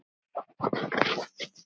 Gæti ekki verið betra.